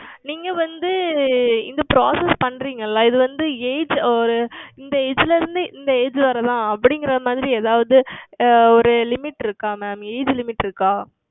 நீங்கள் வந்து இந்த Process பன்னுகிறீர்கள் அல்லவா இது வந்து Age ஓர் இந்த Age ல இருந்து இந்த Age வரை தான் அப்படி என்பது மாதிரி ஏதாவது ஓர் Limit இருக்கிறதா MamAge Limit இருக்கிறதா